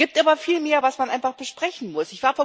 Es gibt aber viel mehr, was man einfach besprechen muss.